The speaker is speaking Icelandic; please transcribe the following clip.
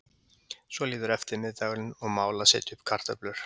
Svo líður eftirmiðdagurinn og mál að setja upp kartöflur.